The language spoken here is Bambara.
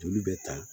Joli bɛ ta